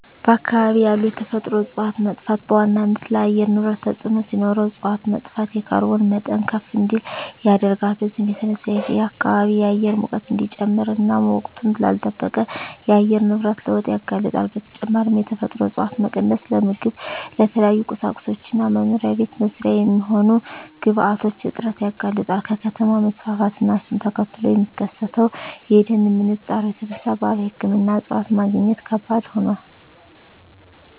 በአካባቢ ያሉ የተፈጥሮ እፀዋት መጥፋት በዋናነት ለአየር ንብረት ተፅዕኖ ሲኖረው እፅዋት መጥፋት የካርቦን መጠን ከፍ እንዲል ያደርጋል። በዚህም የተነሳ የከባቢ አየር ሙቀት እንዲጨምር እና ወቅቱን ላልለጠበቀ የአየር ንብረት ለውጥ ያጋልጣል። በተጨማሪም የተፈጥሮ እፀዋት መቀነስ ለምግብ፣ ለተለያዩ ቁሳቁሶች እና መኖሪያ ቤት መስሪያ የሚሆኑ ግብአቶች እጥረት ያጋልጣል። ከከተማ መስፋፋት እና እሱን ተከትሎ ከሚከሰተው የደን ምንጣሮ የተነሳ ባህላዊ ሕክምና እፅዋት ማግኘት ከባድ ሆኗል።